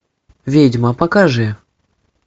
ведьма покажи